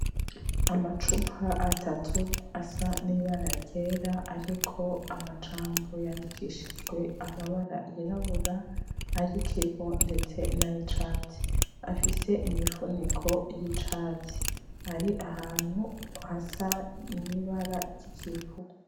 Amacupa atatu asa n'ibara ryera ariko amajambo yandikishijwe amabara yirabura, ay'ikivu, ndetse nayicatsi. Afise imifuniko y'icatsi. Ari ahantu hasa nibara ry'ikivu.